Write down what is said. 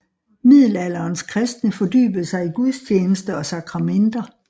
Middelalderens kristne fordybede sig i gudstjeneste og sakramenter